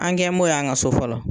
An kɛ m'ɔ ye an ka so fɔlɔ